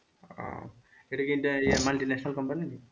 আহ এটা কি inter ইয়া multinational company?